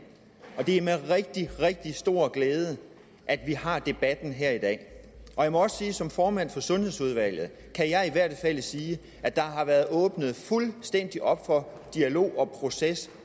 og det er med rigtig rigtig stor glæde at vi har debatten her i dag jeg må også sige som formand for sundhedsudvalget at der har været åbnet fuldstændig op for dialog og proces